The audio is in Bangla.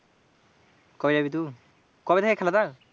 কবে যাবি তু, কবে থেকে খেলাটা?